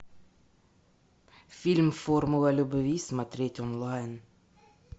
фильм формула любви смотреть онлайн